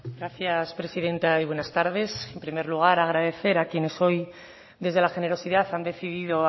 gracias presidenta y buenas tardes en primer lugar agradecer a quienes hoy desde la generosidad han decidido